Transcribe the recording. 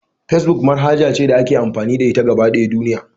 Facebook manhaja ce da ake amfani da ita a gaba ɗaya duniya.